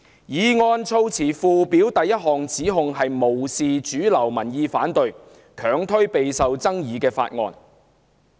議案措辭附表的第一項指控是無視主流民意反對，強推備受爭議的法案。